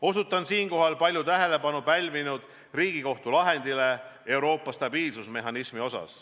Osutan siinkohal palju tähelepanu pälvinud Riigikohtu lahendile Euroopa stabiilsusmehhanismi kohta.